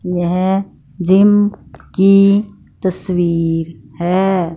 यह जिम की तस्वीर है।